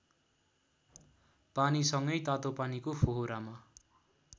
पानीसँगै तातोपानीको फोहरामा